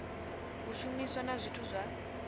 u shumiswa na zwithu zwa